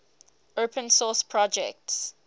open source projects